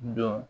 Dɔn